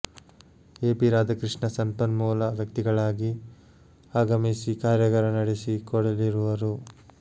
A P Radhakrishna ಸಂಪನ್ಮೂಲ ವ್ಯಕ್ತಿಗಳಾಗಿ ಆಗಮಿಸಿ ಕಾರ್ಯಾಗಾರ ನಡೆಸಿ ಕೊಡಲಿರುವರು